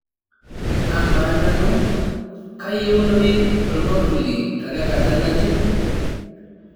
amaa nanu kayieunoyu ormambuli tenakata nji